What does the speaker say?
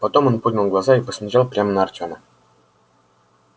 потом он поднял глаза и посмотрел прямо на артёма